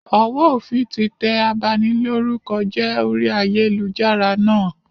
Ọwọ òfin tí tẹ abanilórúkọjẹ́ orí ayélujára náà